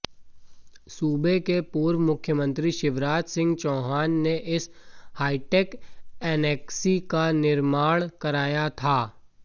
सूबे के पूर्व मुख्यमंत्री शिवराज सिंह चौहान ने इस हाइटेक एनेक्सी का निर्माण कराया था